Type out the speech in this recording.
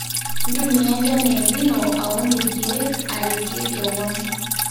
ntumia enchan e el nino aun ilikiek aretie kewon